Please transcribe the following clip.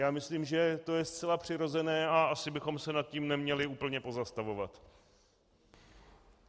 Já myslím, že to je zcela přirozené, a asi bychom se nad tím neměli úplně pozastavovat.